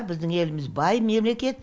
біздің еліміз бай мемлекет